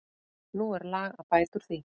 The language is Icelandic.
Nú er lag að bæta úr því.